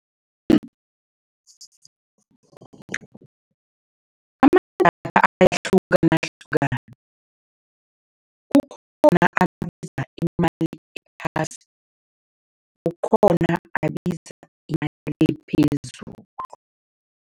Amadatha ayahlukanahlukana. Kukhona abiza imali ephasi, kukhona abiza imali ephezulu.